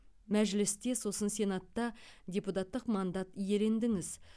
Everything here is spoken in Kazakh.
мәжілісте сосын сенатта депутаттық мандат иелендіңіз